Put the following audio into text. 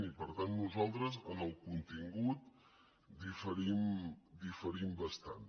i per tant nosaltres en el contingut diferim bastant